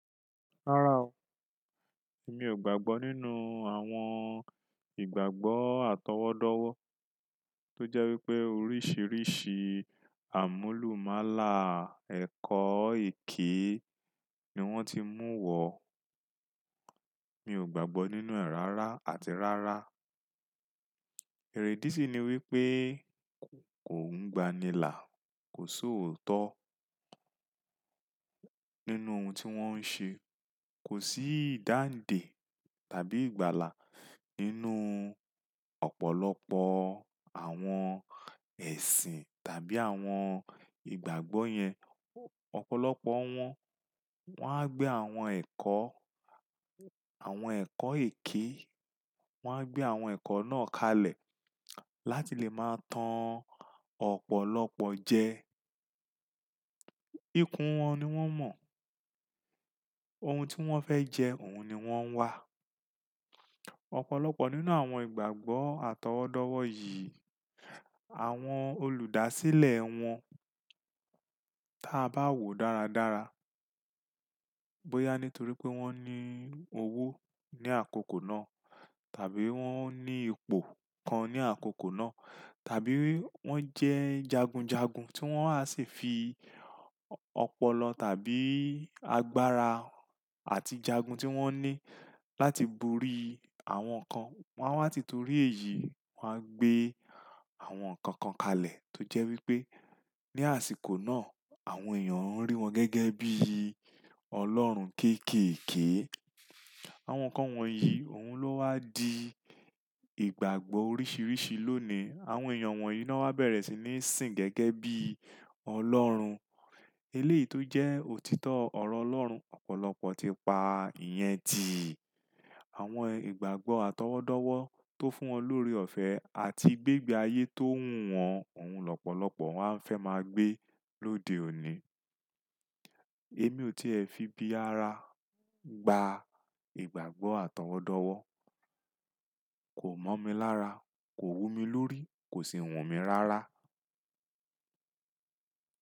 Rárá o, èmi ò gbàgbọ́ nínú àwọn ìgbàgbọ́ àtọwọ́dọ́wọ́ tó jẹ́ wípé oríṣìíríṣìí àmúlùmálà ẹ̀kọ́ èké ni wón ti mú wọ̀. Mi ò gbàgbọ́ nínú ẹ̀ rárá àti rárá. Èrèdí sì ni wípé. Kò ń gbànilá, kò sòótọ́ nínú ohun tí wón ń ṣe. Kò sí ìdáǹdè tàbí ìgbàlà nínú ọ̀pọ̀lọpọ̀ àwọn ẹ̀sìn tàbí àwọn ìgbàgbọ́ yẹn. Ọ̀pọ̀lọpọ̀ wọn, wón á gbé àwọn ẹ̀kọ́, àwọn ẹ̀kọ́ èké, wón á gbé àwọn ẹ̀kọ́ náà kalẹ̀ láti lè máa tan ọ̀pọ̀lọpọ̀ jẹ. Ikún wọn ni wón mọ̀, ohun tí wón fẹ́ jẹ, òun ni wón ń wá. Ọ̀pọ̀lọpọ̀ nínú àwọn ìgbàgbọ́ àtọwọ́dọ́wọ́ yìí, àwọn olùdásílẹ̀ wọn, tí a bá wo dáradára, bóyá nítorí pé wón ní owó ní àkókò náà, tàbí wón ní ipò kan ní àkókò náà, tàbí wón jẹ́ jagunjagun tí wón á sì fi ọpọlọ tàbí agbára àti jagun tí wón ní láti borí àwọn kan, wón á wá títorí èyí, wón á gbé àwọn nǹkan kan kalẹ̀ tó jẹ́ wípé ní àsìkò náà, àwọn èèyàn ń rí wọn gẹ́gẹ́ bí Ọlọ́run kéékèèké. Àwọn nǹkan wọ̀nyí, òun ló wá di ìgbàgbọ́ oríṣìíríṣìí lónìí. Àwọn èèyàn wọ̀nyí ló wá bẹ̀rẹ̀ sí ní sìn gẹ́gẹ́ bí Ọlọ́run. Eléèyí tó jẹ́ òtítọ́ ọ̀rọ̀ Ọlọ́run, ọ̀pọ̀lọpọ̀ ti pa ìyẹn di àwọn ìgbàgbọ́ àtọwọ́dọ́wọ́ tó fún wọn lórí ọ̀fẹ́ àti gbégbé ayé tó wù wọ́n, òun lọ́pọ̀lọpọ̀ wọ́n á fẹ́ máa gbé lóde òní. Èmi ò tí è fi bí ara gba ìgbàgbọ́ àtọwọ́dọ́wọ́, kò mọ̀ mi lára, kò wù mí lórí, kò sì wù mí rárá.